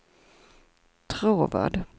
Tråvad